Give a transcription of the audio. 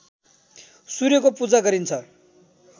सूर्यको पूजा गरिन्छ